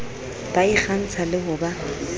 ba ikgantsha le ho ba